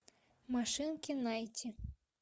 машинки найти